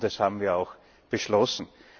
Das haben wir auch beschlossen.